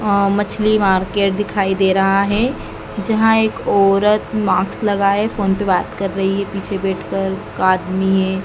मछली मार्केट दिखाई दे रहा है जहाँ एक औरत मास्क लगाये फोन पे बात कर रही है पीछे बैठ कर एक आदमी है।